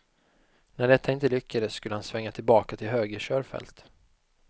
När detta inte lyckades skulle han svänga tillbaka till höger körfält.